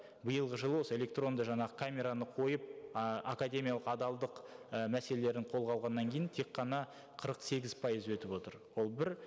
биылғы жылы осы электронды жаңағы камераны қойып ы академиялық адалдық і мәселелерін қолға алғаннан кейін тек қана қырық сегіз пайызы өтіп отыр ол бір